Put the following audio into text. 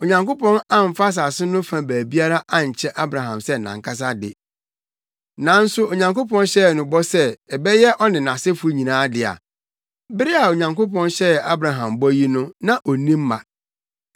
Onyankopɔn amfa asase no fa baabiara ankyɛ Abraham sɛ nʼankasa de. Nanso Onyankopɔn hyɛɛ no bɔ sɛ ɛbɛyɛ ɔne nʼasefo nyinaa dea. Bere a Onyankopɔn hyɛɛ Abraham bɔ yi na onni mma.